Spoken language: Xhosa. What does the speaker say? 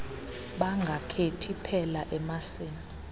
bangakhethi phela emasini